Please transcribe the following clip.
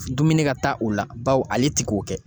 Dumuni ka taa o la bawo ale te k'o kɛ